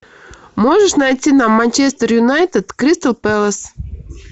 можешь найти нам манчестер юнайтед кристал пэлас